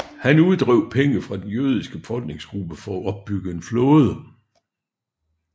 Han uddrev penge fra den jødiske befolkningsgruppe for at opbygge en flåde